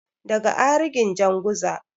daga arikin janguza